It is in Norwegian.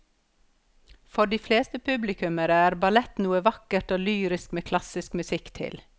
For de fleste publikummere er ballett noe vakkert og lyrisk med klassisk musikk til.